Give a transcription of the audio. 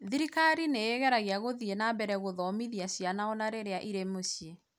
thirikari nĩ ĩgeragia gũthiĩ na mbere gũthomithia ciana o na rĩrĩa irĩ mũciĩ